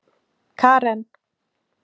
Karen